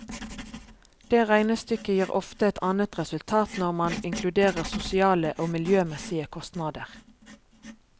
Det regnestykket gir ofte et annet resultat når man inkluderer sosiale og miljømessige kostnader.